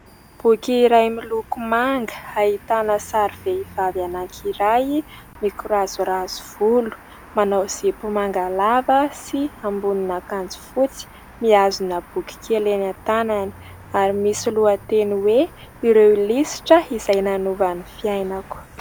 Boky iray miloko manga, ahitana sary vehivavy anankiray mikorazorazo volo. Manao izy zipo manga lava sy ambonina akanjo fotsy, mihazona boky kely eny tanany ary misy lohateny hoe ireo lisitra izay nanova ny fiainako.